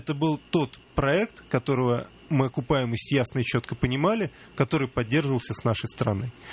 это был тот проект которого мы окупаемость ясно и чётко понимали который поддерживался к нашей стороны